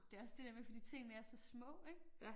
Det også det der med fordi tingene er så små ik